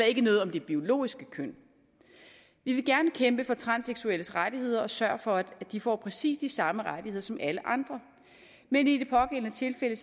ikke noget om det biologiske køn vi vil gerne kæmpe for transseksuelles rettigheder og sørge for at de får præcis de samme rettigheder som alle andre men i det pågældende tilfælde